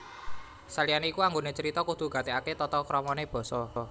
Saliyane iku anggone carita kudu gatekake tata kramane basa